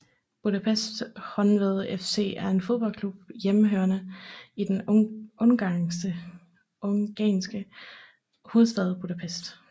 Budapest Honved FC er en fodboldklub hjemmehørende i den ungarske hovedstad Budapest